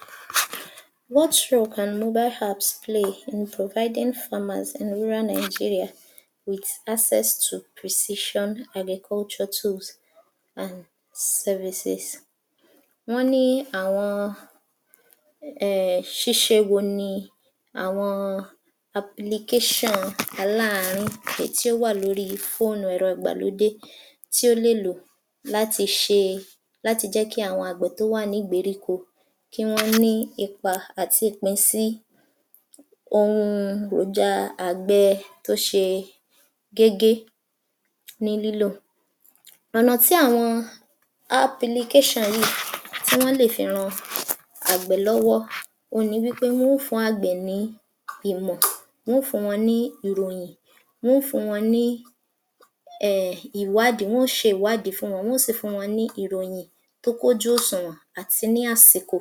50. What role can mobile apps play in providing farmers in rural Nigeria with access to precession agriculture tools and services. Wọ́n ní àwọn um ṣíṣe wo ni àwọn [applicantion] aláàárín èyí tí ó wà lóríi fóònù rẹ ìgbàlódé tí ó lè lò láti ṣe, láti jẹ́ kí àwọn àgbẹ̀ tó wà nígbèríko kí wọ́n ní ipa àti ìpín sí ohun èròja àgbẹ tó ṣe gégé ní lílò. Ọ̀nà tí àwọn apilikéṣàn yìí tí wọ́n lè fi ran àgbẹ̀ lọ́wọ́ òhun ni wí pé wọn ó fùn-ún àgbẹ̀ ní ìmọ̀, wọn ó fùn-ún wọn ní ìròyìn, wọ́n ó fùn-ún wọn ní um ìwádìí, wọ́n ó ṣe ìwádìí fún wọn, wọ́n ó sì fún wọn ní ìròyìn tó kún ojú òṣùwọ̀n àti ní àsìkò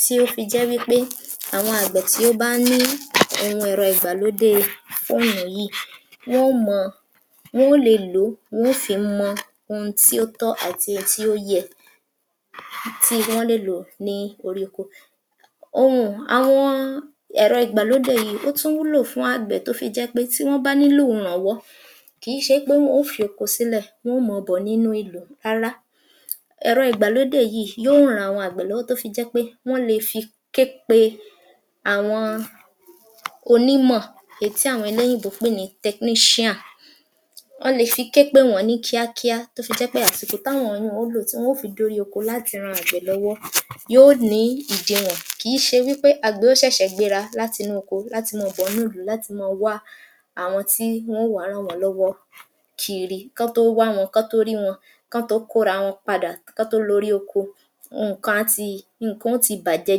tí ó fi jẹ́ wí pé àwọn àgbẹ̀ tí ó bá ní àwọn ohùn ẹ̀rọ ìgbàlódée fóònù yìí, wọ́n ó mọ, wọn ó le lò ó wọn ó fi mọ ohun tí ó tọ́ àti ohun tí ó yẹ tí wọ́n lè lò ní oríkó. [umum] Àwọn ẹ̀rọ ìgbàlódé yìí ó tún wúlò fún àgbẹ̀ tó fi jẹ́ pé tí wọ́n bá nílò ìrànwọ́, kì í ṣe wí yìí pé wọn ó fi oko sílẹ̀ wọn ó mọ bọ̀ nínú ìlú rárá. Ẹ̀rọ ìgbàlódé yìí yó ran àwọn àgbẹ̀ lọ́wọ́ tó fi jẹ́ pé wọ́n le fi képe àwọn onímọ̀ èyí tí àwọn eléyìnbó ń pè ní Technician wọ́n le fi képè wọ̀n-ọ́n ní kíákíá tó fi jẹ́ pé àsìkò tá wọ̀n-ọ́n ó lò tí wọn ó fi dórí oko láti ran àgbẹ̀ lọ́wọ́ yó nìí ìdiwọ̀n kìí ṣe wí pé àgbẹ̀ ó ṣẹ̀ṣẹ̀ gbéra látinú oko láti mọ́ọ bọ̀ ń núlùú láti mọ́ ọn wá àwọn tí wọ́n ó wàá ràn wọ́n lọ́wọ́ kiri kán tó wá wọn kán tó rí wọn kán tó kóra wọn padà kán tó loorí oko nǹkan á ti, nǹkan ó ti bàjẹ́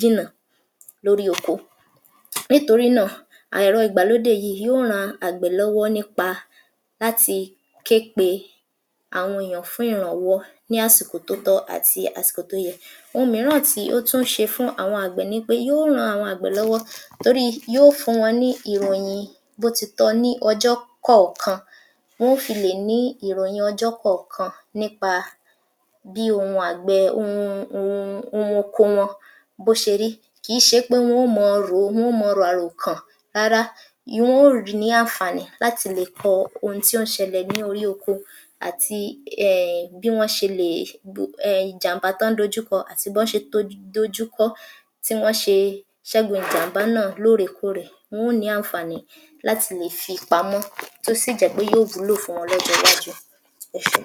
jìnà lórí oko nítorí náà ẹ̀rọ ìgbàlódé yìí ìí yó ran àgbẹ̀ lọ́wọ́ nípa láti ké pe àwọn èèyàn fún ìrànwọ́ ní àsìkò tó tọ́ àti àsìkò tó yẹ. Ohun mìíràn tí ó tú ṣe fún àwọn àgbẹ̀ ni wí pé yó ran àwọn àgbẹ̀ lọ́wọ́ toríi yó fùn-ún ní ìròyin bó ti tọ́ ní ọjọ́ kọ̀ọ̀kan, wọ́n ó fi lè ní ìròyìn ọjọ́ kọ̀ọ̀kan nípa bí ohun àgbẹ̀ẹ um ohun oko wọn bó ṣe rí kìí ṣe pé wọn ó mọ rò ó, wọn ó mọ ràròkàn rárá um wọn ó nìí àǹfààní láti lè láti lè kọ ohun tí ó ń ṣẹlẹ̀ ní órí oko àti um bí wọ́n ṣe lè um ìjàm̀bá tán ń dojú kọ àti bọ́n ṣe dojú kọ ọ́ tí wọ́n ṣe ṣẹ́gun ìjàm̀bá náà lóòrèkóòrè. Wọ́n ó nìí àǹfààní láti lè fi pamọ́ tó sì jẹ́ pé yó wùúlò fún wọn lọ́jọ́ọwájú. Ẹ ṣé.